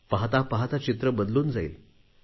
पाहता पाहता चित्र बदलून जाईल